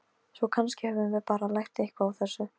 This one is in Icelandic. Ákvörðun hans var gagnrýnd, en gafst vel.